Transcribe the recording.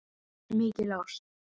Mikil ást.